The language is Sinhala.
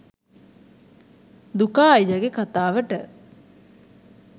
දුකා අයියගේ කතාවට